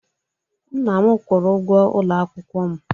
Nna m kwụrụ ụgwọ ụlọ akwụkwọ m